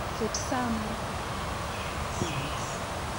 Ket sa mar sa apar gachiel okinyi.